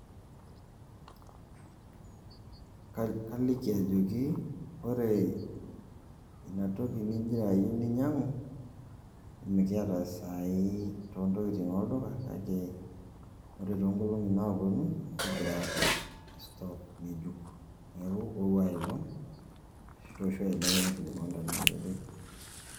kaliki ajoki kore inatoki ning'ira ayeu ninyang'u, miata saa hii to ntokitin olduka kake kore to nolong'i naaponu kegira aapik store nge'ejuk neeku ou ai olong' ashu tooshu ai olong' nkilikuanu ashu etii.